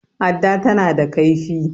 adda tana da laifi